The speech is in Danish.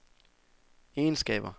egenskaber